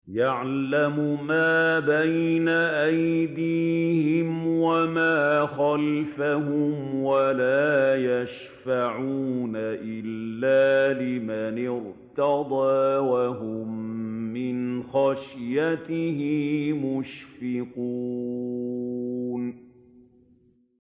يَعْلَمُ مَا بَيْنَ أَيْدِيهِمْ وَمَا خَلْفَهُمْ وَلَا يَشْفَعُونَ إِلَّا لِمَنِ ارْتَضَىٰ وَهُم مِّنْ خَشْيَتِهِ مُشْفِقُونَ